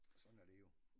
Sådan er det jo